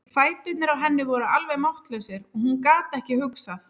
Fæturnir á henni voru alveg máttlausir og hún gat ekki hugsað.